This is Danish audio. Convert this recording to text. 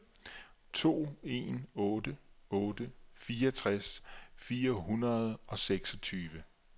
to en otte otte fireogtres fire hundrede og seksogtyve